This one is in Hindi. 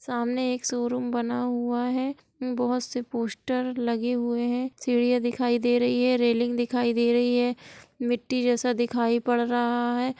सामने एक शोरूम बना हूआ है बहुत से पोस्टर लगे हुए हैं| सीढ़ियां दिखाई दे रही है रेलिंग दिखाई दे रही है मिट्टी जैसा दिखाई पड़ रहा है।